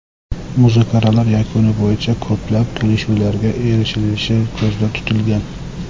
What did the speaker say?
Muzokaralar yakuni bo‘yicha ko‘plab kelishuvlarga erishilishi ko‘zda tutilgan.